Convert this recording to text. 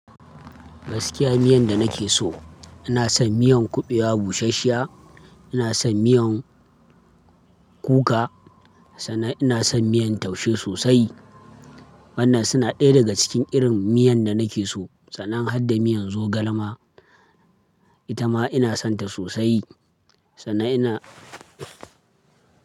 Gaskiya miyan da nake so, ina son miyan kuɓewa bushashsshiya, ina son miyan kuka, sannan ina son miyan taushe sosai. Waɗannan suna ɗaya daga cikin irin miyan da nake so, sannan har da miyan zogalema, ita ma ina sonta sosai. Sannan ina.